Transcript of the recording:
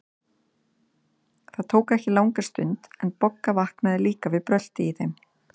Það tók ekki langa stund, en Bogga vaknaði líka við bröltið í þeim.